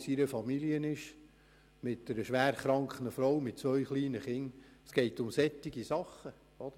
die Frau des Polizisten ist schwer krank und hat zwei kleine Kinder.